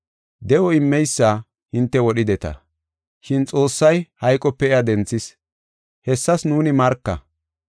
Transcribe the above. De7o immeysa hinte wodhideta, shin Xoossay hayqope iya denthis. Hessas nuuni marka.